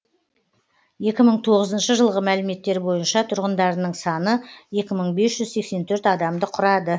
екі мың тоғызыншы жылғы мәліметтер бойынша тұрғындарының саны екі мың бес жүз сексен төрт адамды құрады